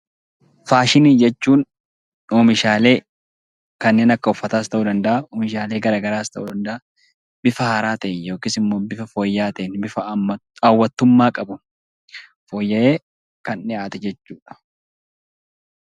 Faashinii jechuun oomishaalee kanneen akka uffataa bifa fooyya'aa ta'ee fi bifa haawwattummaa qabuun fooyya'ee kan dhihaate jechuudha.